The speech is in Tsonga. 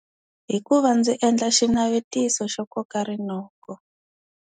Hi ku va ndzi endla xinavetiso xo koka rinoko.